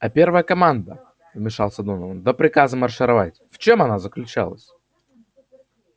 а первая команда вмешался донован до приказа маршировать в чем она заключалась